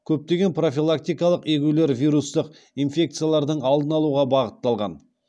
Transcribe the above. көптеген профилактикалық егулер вирустық инфекциялардың алдын алуға бағытталған